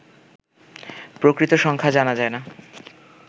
প্রকৃত সংখ্যা জানা যায় না